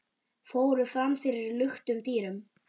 fóru fram fyrir luktum dyrum.